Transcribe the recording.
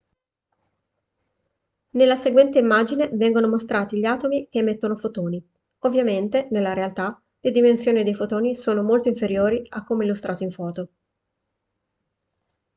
nella seguente immagine vengono mostrati gli atomi che emettono fotoni ovviamente nella realtà le dimensioni dei fotoni sono molto inferiori a come illustrato in foto